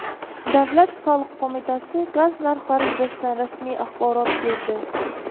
Davlat soliq qo‘mitasi gaz narxlari yuzasidan rasmiy axborot berdi.